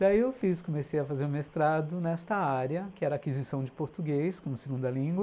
Daí eu fiz, comecei a fazer um mestrado nesta área, que era aquisição de português como segunda língua.